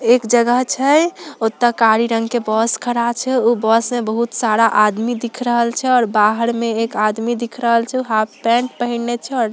एक जगह छाई ओथा काली रंग के बस खड़ा छाई उ बस में बहुत सा आदमी दिख रहल छे और बहार में एक आदमी दिख रहा छे हाफ पेंट पहने छे।